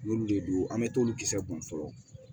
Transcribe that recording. Olu de don an mɛ t'olu kisɛ kun fɔlɔ